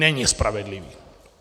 Není spravedlivý!